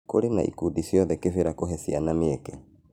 Kũrĩ na ikundi ciokire Kĩbĩira kũhe ciana mĩeke.